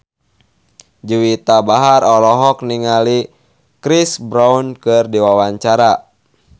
Juwita Bahar olohok ningali Chris Brown keur diwawancara